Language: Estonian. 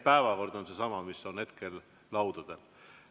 Päevakord on seesama, mis on hetkel laudadel.